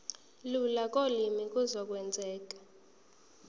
lula kolimi kuzokwenzeka